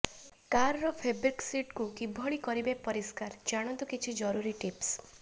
କାରର ଫେବ୍ରିକ ସିଟକୁ କିଭଳି କରିବେ ପରିଷ୍କାର ଜାଣନ୍ତୁ କିଛି ଜରୁରୀ ଟିପ୍ସ